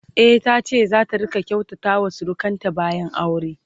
e tace zata rinka kyautata wa surukanta bayan aure